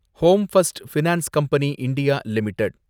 home first finance company India limited